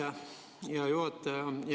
Aitäh, hea juhataja!